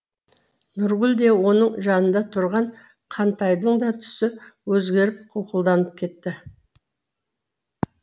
нұргүл де оның жанында тұрған қантайдың да түсі өзгеріп қуқылданып кетті